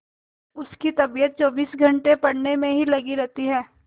उसकी तबीयत चौबीस घंटे पढ़ने में ही लगी रहती है